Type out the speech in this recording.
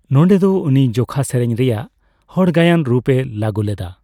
ᱱᱚᱰᱮ ᱫᱚ ᱩᱱᱤ ᱡᱚᱠᱷᱟ ᱥᱮᱨᱮᱧ ᱨᱮᱭᱟᱜ ᱦᱚᱲ ᱜᱟᱭᱟᱱ ᱨᱩᱯᱼᱮ ᱞᱟᱹᱜᱩ ᱞᱮᱫᱟ ᱾